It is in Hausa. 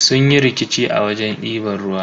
Sun yi rikici a wajen diban ruwa.